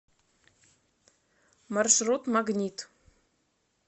маршрут магнит